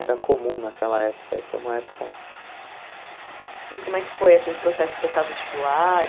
Era comum naquela época, e foi uma época... E como é que foi esse processo de prestar vestibular?